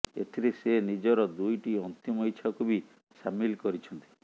ଏଥିରେ ସେ ନିଜର ଦୁଇଟି ଅନ୍ତିମ ଇଚ୍ଛାକୁ ବି ସାମିଲ କରିଛନ୍ତି